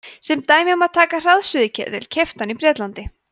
sem dæmi má taka hraðsuðuketil keyptan í bretlandi